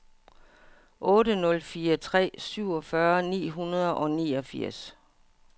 otte nul fire tre syvogfyrre ni hundrede og niogfirs